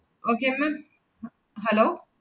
Okay ma'am, ha~ hello